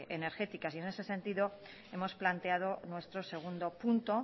energéticas en ese sentido hemos planteado nuestro segundo punto